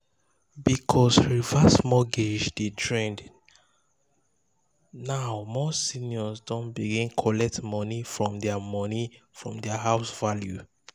because reverse mortgage dey trend um now more seniors don begin collect money from their money from their house value.